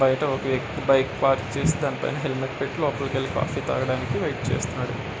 బయట ఒక వ్యక్తి బైక్ పార్క్ చేసి దాని పైన హెల్మెట్ పెట్టి లోపలికెళ్ళి కాఫీ తాగడానికి వెయిట్ చేస్తున్నాడు.